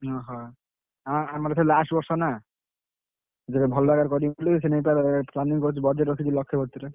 ଓହୋ, ଆଁ ଆମର ଏଥର last ବର୍ଷ ନା, ଭଲ ଭାବରେ କରିବୁ ବୋଲି ସେଇନାଗି ତାର planning କରିଛୁ budget ରଖିଚୁ ଲକ୍ଷେ ସତୁରୀ।